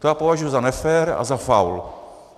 To já považuji za nefér a za faul.